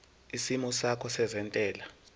isimo sakho sezentela